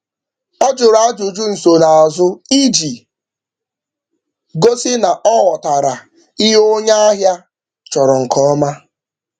Ọ jụrụ ajụjụ nsonaazụ iji gosi na ọ ọ ghọtara ihe onye ahịa chọrọ nke ọma.